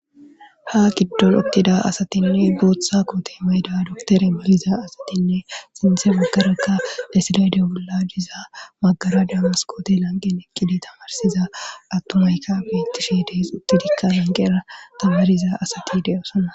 ha giddon uttida asatinne booththa qooti meyda doktere maliza asatinne sinthe maggarekka lesilayde bolla diza maggara damaskoote lanqen ekkide tamarsiza attumayka bettishi dees uttidikka lanqeera tabariza asati deyosonna